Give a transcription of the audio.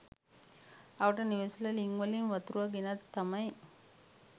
අවට නිවෙස්‌වල ළිංවලින් වතුර ගෙනත් තමයි